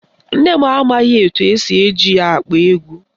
Nne m amaghị etu esi eji ya akpọ egwu